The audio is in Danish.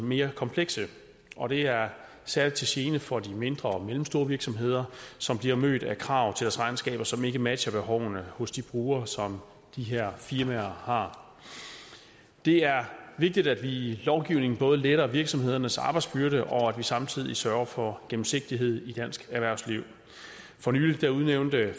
mere komplekse og det er særlig til gene for de mindre og mellemstore virksomheder som bliver mødt af krav til deres regnskaber som ikke matcher behovene hos de brugere som de her firmaer har det er vigtigt at vi i lovgivningen både letter virksomhedernes arbejdsbyrde og samtidig sørger for gennemsigtighed i dansk erhvervsliv for nylig udnævnte